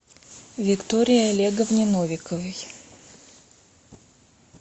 виктории олеговне новиковой